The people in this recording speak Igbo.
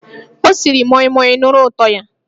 Ọ siri moimoi, nụrụ ụtọ ya!